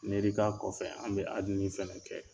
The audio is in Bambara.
N yiri t'a kɔfɛ an bɛ in kɛ.